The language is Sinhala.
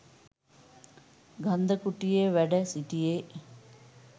ගන්ධකුටියේ වැඩ සිටියේ.